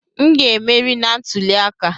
M ga-emeri na ntuli aka!